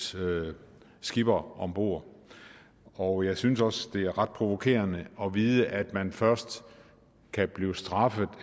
skipper om bord og jeg synes også det er ret provokerende at vide at man først kan blive straffet